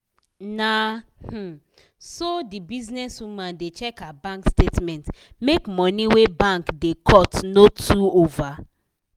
na um so the business woman da check her bank statement make money wey bank da cut no too over